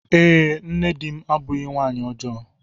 Ee, nne di m abụghị nwanyị ọjọọ.